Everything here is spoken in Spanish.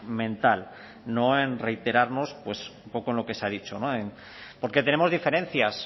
mental no en reiterarnos pues poco en lo que se ha dicho porque tenemos diferencias